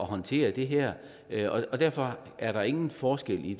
håndtere det her og derfor er der ingen forskel i